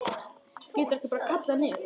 Geturðu ekki bara kallað niður?